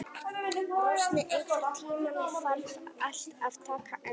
Rósný, einhvern tímann þarf allt að taka enda.